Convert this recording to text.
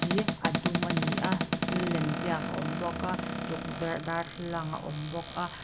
hi a dum a ni a thil lem ziak a awm bawk a tukverh darthlalang a awm bawk a.